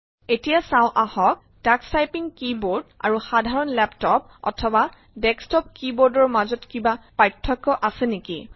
এতিয়া চাওঁ আহক টাক্স টাইপিং কী বোৰ্ড আৰু সাধাৰণ লেপটপ অথবা ডেস্কটপ কী বোৰ্ডৰ মাজত কিবা প্ৰাৰ্থক্য আছে নিকি